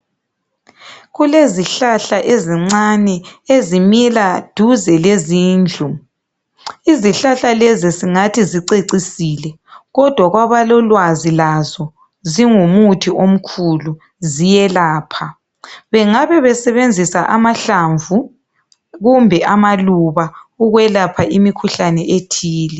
Kulezihlahla ezincane ezimila duze lezindlu. Izihlahla lezi singathi zicecisile, kodwa kwabalolwazi lazo zingumuthi omkhulu, ziyelapha. Bengabe besebenzisa amahlamvu kumbe amaluba ukwelapha imikhuhlane ethile.